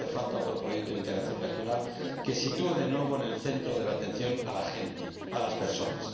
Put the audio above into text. Hace falta otro proyecto de integración regional, que sitúe de nuevo en el centro de la atención a la gente, a las personas.